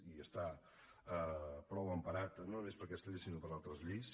i està prou emparat no només per aquesta llei sinó per altres lleis